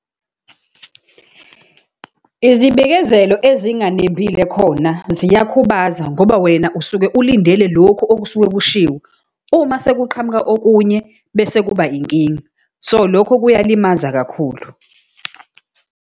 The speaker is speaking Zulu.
Izibikezelo ezinganembile khona ziyakhubaza, ngoba wena usuke ulindele lokhu okusuke kushiwo. Uma sekuqhamuka okunye bese kuba inkinga. So, lokho kuyalimaza kakhulu.